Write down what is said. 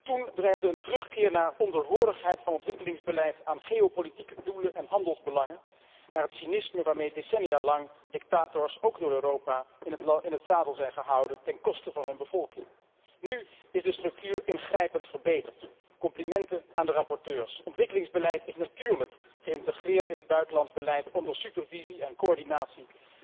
Toen dreigde een terugkeer naar onderhorigheid van het ontwikkelingsbeleid aan geopolitieke doelen en handelsbelangen en naar het cynisme waarmee decennia lang dictators ook door Europa in het zadel zijn gehouden ten koste van hun bevolking. Nu is de structuur ingrijpend verbeterd. Complimenten aan de rapporteurs. Ontwikkelingsbeleid is natuurlijk geïntegreerd in het buitenlands beleid onder supervisie en coördinatie